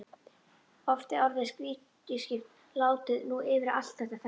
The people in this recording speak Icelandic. Oft er orðið rýriskipting látið ná yfir allt þetta ferli.